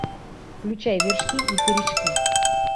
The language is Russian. включай вершки и корешки